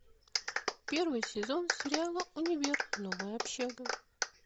первый сезон сериала универ новая общага